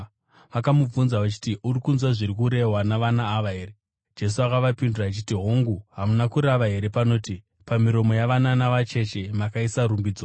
Vakamubvunza vachiti, “Uri kunzwa zviri kurehwa navana ava here?” Jesu akavapindura achiti, “Hongu, hamuna kurava here panoti: “ ‘Pamiromo yavana navacheche makaisa rumbidzo’?”